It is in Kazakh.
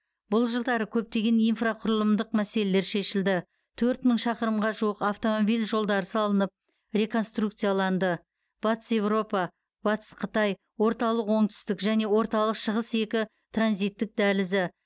бұл жылдары көптеген инфрақұрылымдық мәселелер шешілді төрт мың шақырымға жуық автомобиль жолдары салынып реконструкцияланды батыс еуропа батыс қытай орталық оңтүстік және орталық шығыс екі транзитттік дәлізі